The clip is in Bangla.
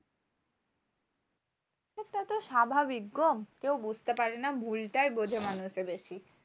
সেটা তো স্বাভাবিক গো। কেউ বুঝতে পারে না ভুলটাই বোঝে মানুষে বেশি।